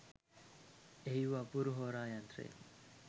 එහි වූ අපූරු හෝරා යන්ත්‍රය